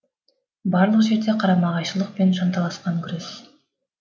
барлық жерде қарама қайшылық пен жанталасқан күрес